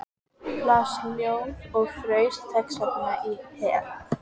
Las ljóð og fraus þessvegna í hel.